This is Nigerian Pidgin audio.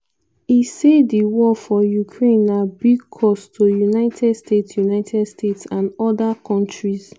e say di war for ukraine na "big cost to united states united states and oda kontris".